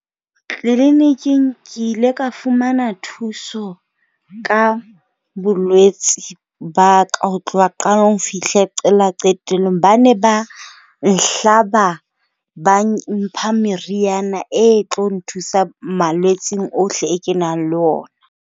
Tleliniking ke ile ka fumana thuso ka bolwetse ba ka ho tloha qalong ho fihle qala qetellong. Ba ne ba nhlaba ba mpha meriana e tlo nthusa malwetseng ohle e kenang le ona.